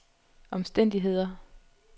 omstændigheder